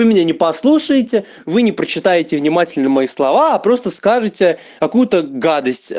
вы меня не послушаете вы не прочитаете внимательно мои слова а просто скажите какуе то гадость